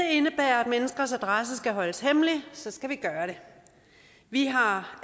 menneskers adresse skal holdes hemmelig så skal vi gøre det vi har